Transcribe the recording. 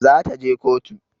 Za ta je kotu